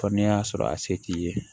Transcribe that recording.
Fɔ n'a y'a sɔrɔ a se t'i ye